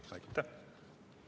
Aitäh!